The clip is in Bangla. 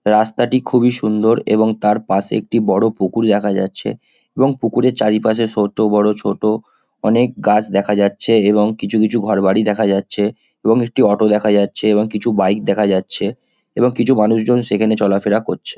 রাস্তাটি খুবই সুন্দর এবং তার পাশে একটি বড়ো পুকুর দেখা যাচ্ছে এবং পুকুরের চারিপাশে ছোট বড়ো ছোট অনেক গাছ দেখা যাচ্ছে এবং কিছু কিছু ঘর বাড়ি দেখা যাচ্ছে এবং একটি অটো দেখা যাচ্ছে এবং কিছু বাইক দেখা যাচ্ছে এবং কিছু মানুষজন সেখানে চলাফেরা করছে।